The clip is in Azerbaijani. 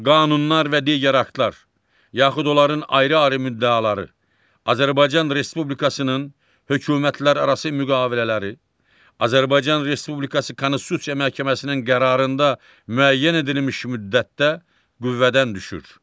Qanunlar və digər aktlar, yaxud onların ayrı-ayrı müddəaları Azərbaycan Respublikasının hökumətlərarası müqavilələri, Azərbaycan Respublikası Konstitusiya Məhkəməsinin qərarında müəyyən edilmiş müddətdə qüvvədən düşür.